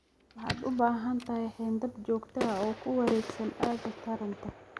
Waxaad u baahan tahay xayndaab joogto ah oo ku wareegsan aagga taranta.